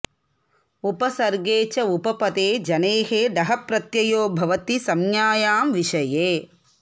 उपसर्गे च उपपदे जनेः डः प्रत्ययो भवति संज्ञायां विषये